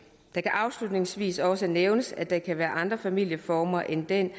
det kan afslutningsvis også nævnes at der kan være andre familieformer end den